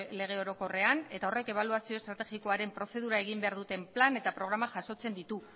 lege orokorrean eta horrek ebaluazio estrategikoaren prozedura egin behar duten plan eta programak jasotzen ditu